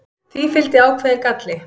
Því fylgdi ákveðinn galli.